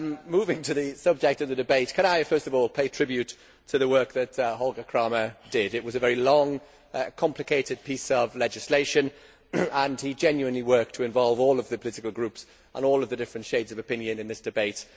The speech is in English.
Moving to the subject of the debate, I would first of all like to pay tribute to the work that Holger Krahmer did. It was a very long, complicated piece of legislation and he genuinely worked to involve all of the political groups and all of the different shades of opinion in this debate.